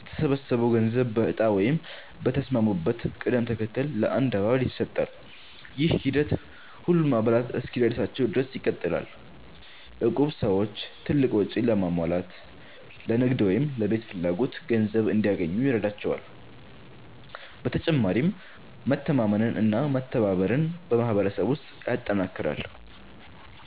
የተሰበሰበው ገንዘብ በእጣ ወይም በተስማሙበት ቅደም ተከተል ለአንድ አባል ይሰጣል። ይህ ሂደት ሁሉም አባላት እስኪደርሳቸው ድረስ ይቀጥላል። እቁብ ሰዎች ትልቅ ወጪ ለማሟላት፣ ለንግድ ወይም ለቤት ፍላጎት ገንዘብ እንዲያገኙ ይረዳቸዋል። በተጨማሪም መተማመንና መተባበርን በማህበረሰብ ውስጥ ያጠናክራል።